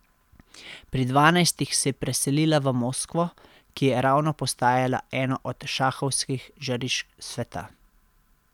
Pri dvanajstih se je preselila v Moskvo, ki je ravno postajala eno od šahovskih žarišč sveta.